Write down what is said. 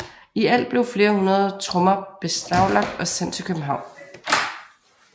I alt blev flere hundrede trommer beslaglagt og sendt til København